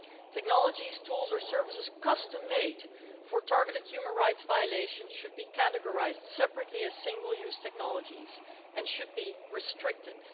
Technologies, tools or services custom made for targeted human rights violations should be categorised separately, as single use technologies, and should be restricted.